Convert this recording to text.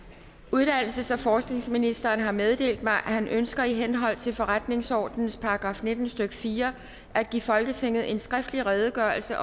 uddannelses og forskningsministeren har meddelt mig at han ønsker i henhold til forretningsordenens § nitten stykke fire at give folketinget en skriftlig redegørelse